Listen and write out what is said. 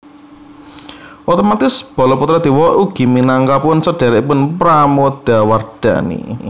Otomatis Balaputradewa ugi minangkapun sedherekipun Pramodawardhani